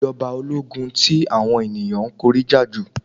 Ta ni ìjọ̀ba ológun tí àwọn ènìyàn kórìíra jù?